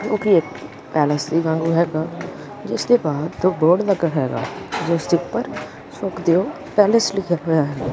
ਜੋ ਕਿ ਇੱਕ ਪੈਲਸ ਦੇ ਵਾਂਗੂੰ ਹੈਗਾ ਜਿਸ ਦੇ ਬਾਹਰ ਦੋ ਬੋਰਡ ਲੱਗਾ ਹੈਗਾ ਜਿਸ ਦੇ ਉੱਪਰ ਸੁਖਦੇਵ ਪੈਲਸ ਲਿਖਿਆ ਹੋਇਆ ਹੈਗਾ।